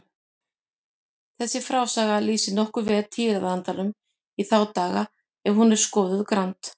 Þessi frásaga lýsir nokkuð vel tíðarandanum í þá daga ef hún er skoðuð grannt.